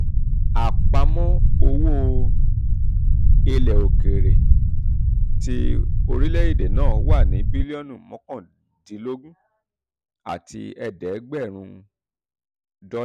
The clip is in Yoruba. àpamọ́ owó ilẹ̀ um òkèèrè ti orílẹ̀-èdè náà wà ní bílíọ̀nù mọ́kàndínlọ́gọ́rùn-ún àti ẹ̀ẹ́dẹ́gbẹ̀rin àti ẹ̀ẹ́dẹ́gbẹ̀rin dọ́là.